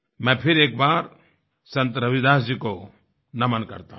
मैं एक बार फिर संत रविदास जी को नमन करता हूँ